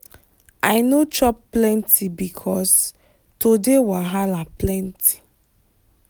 i no chop plenty because today wahala plenty.